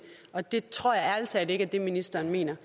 og det tror jeg ærlig talt ikke er det ministeren mener